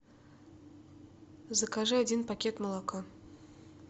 закажи один пакет молока